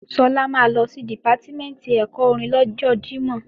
Sọlá máa lọ sí Dìpátímẹ̀ntì ẹ̀kọ́ orin lọ́jọ Jímọ̀